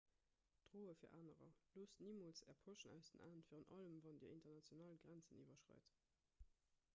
droe fir anerer loosst nimools är poschen aus den aen virun allem wann dir international grenzen iwwerschreit